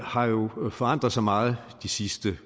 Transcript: har jo forandret sig meget de sidste